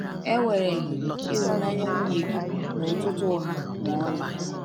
Ewereghị ịhụnanya nwunye gị n’ụtụtụ ụgha ma ọlị.